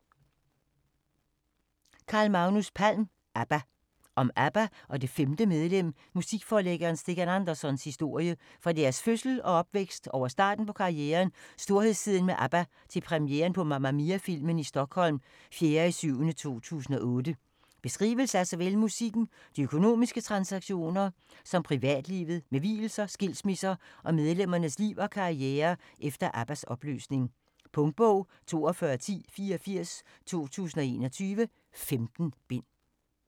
Palm, Carl Magnus: ABBA Om ABBA og det "femte medlem", musikforlæggeren Stikkan Andersons historie fra deres fødsel og opvækst over starten på karrieren og storhedstiden med ABBA til premieren på Mamma Mia-filmen i Stockholm d. 4.7.2008. Beskrivelse af såvel musikken, de økonomiske transaktioner som privatlivet med vielser, skilsmisser og medlemmernes liv og karriere efter ABBAs opløsning. Punktbog 421084 2021. 15 bind.